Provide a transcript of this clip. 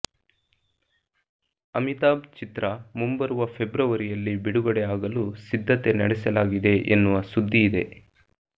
ಶಮಿತಾಬ್ ಚಿತ್ರ ಮುಂಬರುವ ಫೆಬ್ರವರಿಯಲ್ಲಿ ಬಿಡುಗಡೆ ಆಗಲು ಸಿದ್ಧತೆ ನಡೆಸಲಾಗಿದೆ ಎನ್ನುವ ಸುದ್ದಿ ಇದೆ